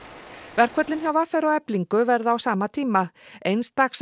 verkföllin hjá v r og Eflingu verða á sama tíma eins dags